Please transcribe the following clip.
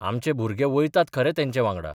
आमचे भुरगे वयतात खरे तेंचे वांगडा.